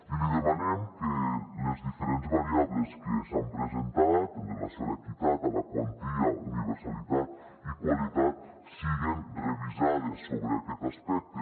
i li demanem que les diferents variables que s’han presentat en relació amb l’equitat amb la quantia universalitat i qualitat siguen revisades sobre aquest aspec·te